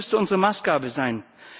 Das müsste unsere Maßgabe sein.